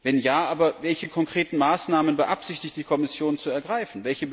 Wenn ja, welche konkreten Maßnahmen beabsichtigt die Kommission zu ergreifen?